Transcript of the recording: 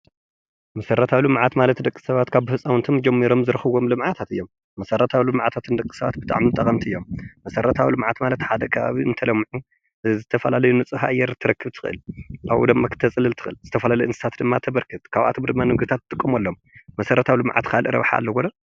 መስረታዊ ልምዓት ማለት ሓደ ህዝቢ ካብ መንግስቲ ዝረኽቦም ግልጋሎት ኮይኖም ክፍሊት ዘለዎምን ዘይብሎምን ክኾኑ ይኽእሉ እዮም። ኣብነት:-መብራህቲ፣ ማይ፣ ቴለ ወዘተ